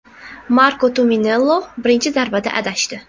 Marko Tumminello birinchi zarbada adashdi.